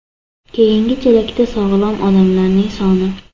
Keyingi chelakda sog‘lom odamlarning soni.